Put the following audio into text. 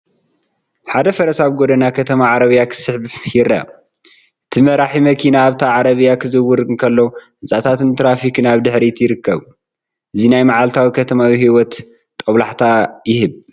ሓደ ፈረስ ኣብ ጎደና ከተማ ዓረብያ ክስሕብ ይርአ። እቲ መራሒ መኪና ኣብታ ዓረብያ ክዝውር እንከሎ፡ ህንጻታትን ትራፊክን ኣብ ድሕሪት ይርከብ። እዚ ናይ መዓልታዊ ከተማዊ ህይወት ጦብላሕታ ይህብ።